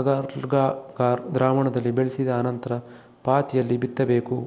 agar agar ದ್ರಾವಣದಲ್ಲಿ ಬೆಳೆಸಿದ ಅನಂತರ ಪಾತಿಯಲಿ ಬಿತ್ತಬೇಕು